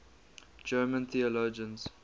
german theologians